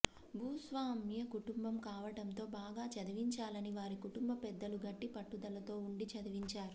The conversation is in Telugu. భూస్వామ్య కుటుంబం కావడంతో బాగా చదివించాలని వారి కుటుంబ పెద్దలు గట్టి పట్టుదలతో ఉండి చదివించారు